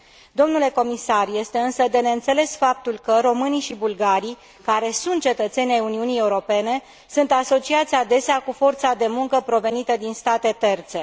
Domnule Comisar, este însă de neînțeles faptul că românii și bulgarii, care sunt cetățeni ai Uniunii Europene, sunt asociați adesea cu forța de muncă provenită din state terțe.